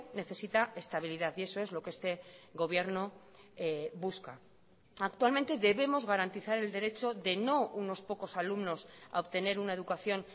necesita estabilidad y eso es lo que este gobierno busca actualmente debemos garantizar el derecho de no unos pocos alumnos a obtener una educación